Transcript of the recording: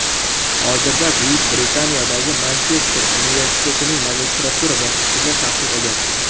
Hozirda Buyuk Britaniyadagi Manchester universitetining magistratura bosqichida tahsil olyapti.